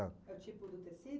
É o tipo do tecido?